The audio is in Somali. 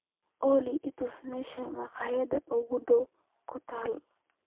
olly i tus meesha makhaayadda kuugu dhow ku taal